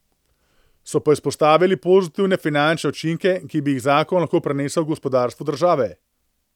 So pa izpostavili pozitivne finančne učinke, ki bi jih zakon lahko prinesel gospodarstvu države.